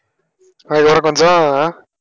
ஆஹ் இதோட கொஞ்சம் ஆஹ்